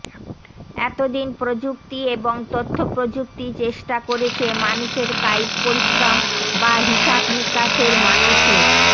এত দিন প্রযুক্তি এবং তথ্যপ্রযুক্তি চেষ্টা করেছে মানুষের কায়িক পরিশ্রম বা হিসাবনিকাশের মানসিক